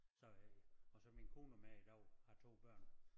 Så øh og så min kone og mig i dag har 2 børn